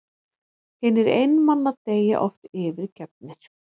Hinir einmana deyja oft yfirgefnir.